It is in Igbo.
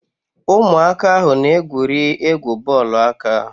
Ụmụaka ahụ na- egwuri egwu bọọlụ aka.